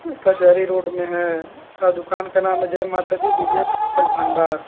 कचहरी रोड में है अ दुकान का नाम जय माता दी विजय पुस्तक भंडार।